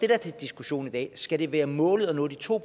er til diskussion i dag skal det være målet at nå de to